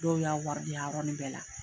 Dɔw y'a wari di a yɔrɔnin bɛɛ la.